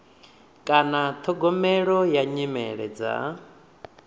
kana ṱhogomelo ya nyimele dza